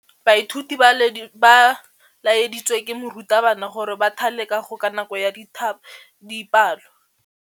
Baithuti ba laeditswe ke morutabana gore ba thale kagô ka nako ya dipalô.